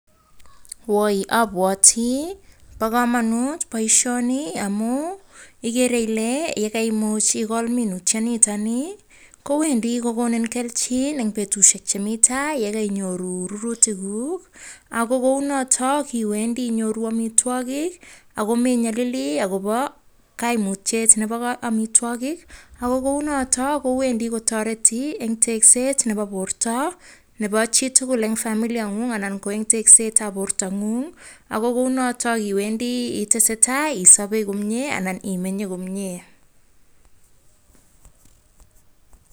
Woi abwati bo kamanut boishoni amun igere ile, kaimuch ikol minutyoni kowendi kokonin kelchin eng betushek chemi tai yekainyoru rurutik guk. Ako kou notok iwendi inyoru amitwagik ako me nyalili agibo kaimutyet nebo amitwagik ako kou notok kowendi kotareti eng tekset nebo borta nebo chi tugul eng familia nen'gung ana eng tekset ab borta n'gung. Ako kou notok iwendi itese tai komie anan isabe anan imenye komie.